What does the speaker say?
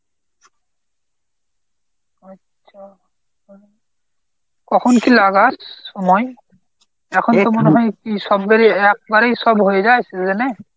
আচ্ছা। কখন কী লাগাস? সময়? এখন তো মনে হয় একবারেই সব হয়ে যায় season এ?